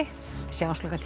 sjáumst klukkan tíu